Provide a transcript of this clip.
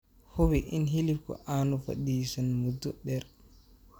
Hubi in hilibku aanu fadhiisan muddo dheer.